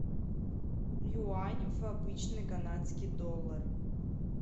юань в обычный канадский доллар